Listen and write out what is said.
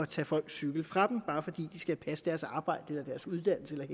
tage folks cykler fra dem bare fordi de skal passe deres arbejde eller deres uddannelse eller